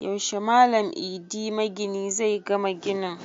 Yaushe Malam Idi magini zai gama ginin?